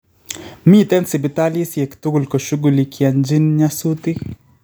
Miteen sibitalisyeek tukul koshughulikanjin nyasutiik